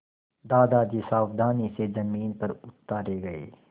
दादाजी सावधानी से ज़मीन पर उतारे गए